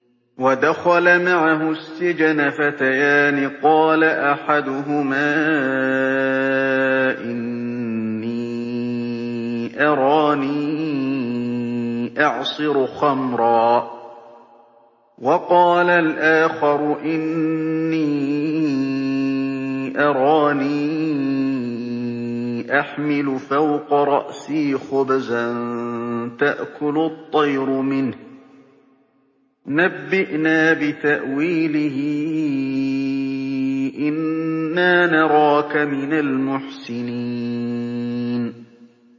وَدَخَلَ مَعَهُ السِّجْنَ فَتَيَانِ ۖ قَالَ أَحَدُهُمَا إِنِّي أَرَانِي أَعْصِرُ خَمْرًا ۖ وَقَالَ الْآخَرُ إِنِّي أَرَانِي أَحْمِلُ فَوْقَ رَأْسِي خُبْزًا تَأْكُلُ الطَّيْرُ مِنْهُ ۖ نَبِّئْنَا بِتَأْوِيلِهِ ۖ إِنَّا نَرَاكَ مِنَ الْمُحْسِنِينَ